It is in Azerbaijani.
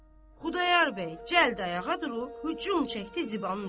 Xudayar bəy cəld ayağa durub hücum çəkdi Zibanın üstə.